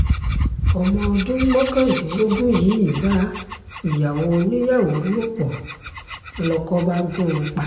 ọmọ ọdún mọ́kàndínlógún yìí bá ìyàwó oníyàwó lò pọ̀ lóko bá gùn ún pa